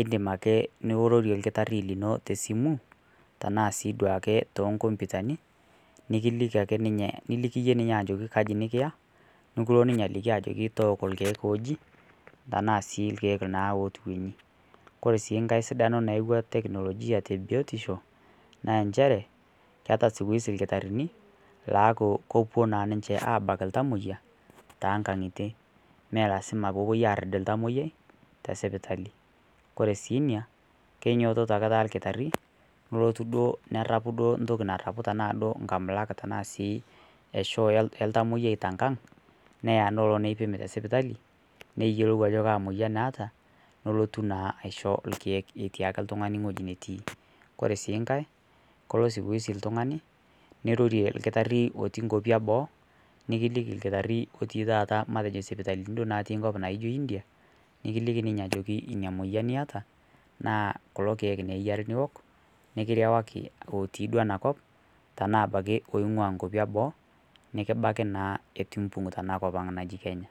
idiim ake neirorie lkitaari te simu tana sii duake to nkompitani. Nikiliiki ake ninye niliiki enye ninye ajoki nkaaji nikiyaa nikuloo ninye ajoki tooki lkiek ojii tana sii lkiek naa otuwenyi. Kore sii nkaai sidano naiyeuwa teknolojia te biotisho naa encheere keeta siku hizi lkitaarini laaku kopoo naa ninchee abaki ltamoiyia te nga'yitie mee lasima pee opoo ariid ltamoyiai te sipitali. Kore sii enia keinyototo ake taa ilkitaari nelootu doo nerapuu doo ntoki naarapu tana doo nkamulaak tana sii eshoo eltamoyia te nkaang niyaa neloo neipiim te sipitali niyeilou ajo kaa moyian etaa nolotuu naa aishoo lkiek etii ake ltung'ani ng'oji natii. Kore sii nkaai koloo [sc] siku hizi ltung'ani neirorie lkitaari otii nkoopi eboo nikiliiki olkitaari otii taata matejoo sipitalini doo natii koop na ijoo India, nikiliiki ninye ajoo enia moyian eeta naa kuloo lkiek eiyaari niook nikiwaari looti doo ana koop tana abaki loing'aa nkwaapi eboo nikibaaki naa etuu imbuung' tana nkopang najii Kenya.